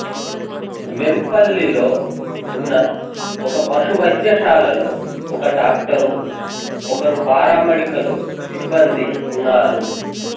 వెంపల్లిలో ఉన్న ఒక పశు వైద్యశాలలో ఒక డాక్టరు ఒకరు పారామెడికల్ సిబ్బందీ ఉన్నారు